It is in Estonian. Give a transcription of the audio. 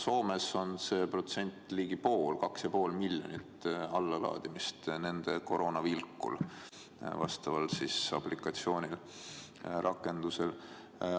Soomes on see protsent ligi 50: 2,5 miljonit allalaadimist on nende Koronavilkku rakendusel.